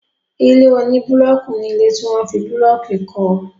Ilé oní búlọọkù ní ilé tí wọ́n fi búlọọkù kọ